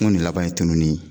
Ŋo nin laban ye tununni ye